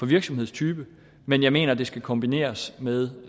virksomhedstype men jeg mener at det skal kombineres med